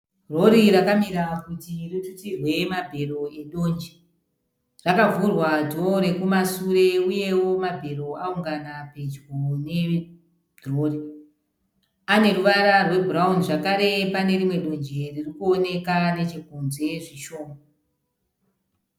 Rori rakamira kuti ritutirwe mabhero edonje. Rakavhurwa dhoo rekumasure uyewo mabhero awungana pedyo nerori. Ane ruvara rwebhurawuni zvakare pane rimwe donje ririkuoneka nechekunze zvishoma.